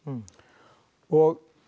og